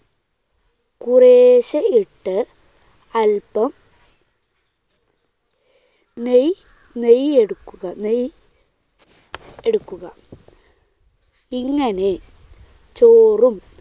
കുറേശ്ശെ ഇട്ട് അല്പം നെയ്യ് നെയ്യ് എടുക്കുക. നെയ്യ് എടുക്കുക. ഇങ്ങനെ ചോറും